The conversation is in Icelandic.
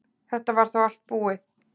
Þetta var þá allt búið.